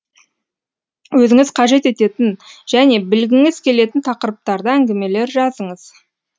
өзіңіз қажет ететін және білгіңіз келетін тақырыптарда әңгімелер жазыңыз